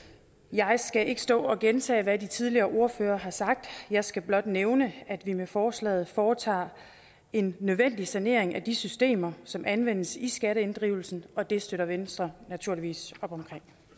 jeg skal ikke stå og gentage hvad de tidligere ordførere har sagt jeg skal blot nævne at vi med forslaget foretager en nødvendig sanering af de systemer som anvendes i skatteinddrivelsen og det støtter venstre naturligvis op om